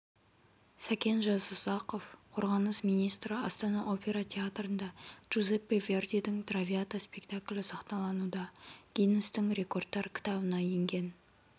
сәкен жасұзақов қорғаныс министрі астана опера театрында джузеппе вердидің травиата спектаклі сахналануда гиннестің рекордтар кітабына енген